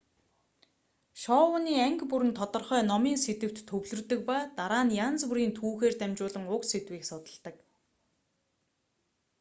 шоуны анги бүр нь тодорхой номын сэдэвт төвлөрдөг ба дараа нь янз бүрийн түүхээр дамжуулан уг сэдвийг судалдаг